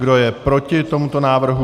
Kdo je proti tomuto návrhu?